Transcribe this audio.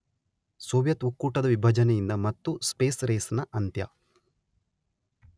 Soviet ಒಕ್ಕೂಟದ ವಿಭಜನೆಯಿಂದ ಮತ್ತು ಸ್ಪೇಸ್ ರೇಸ್ ನ ಅಂತ್ಯ